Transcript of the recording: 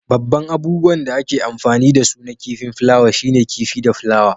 Babban abubuwan da ake amfani da su na kifin flawa shine kifi da flawa.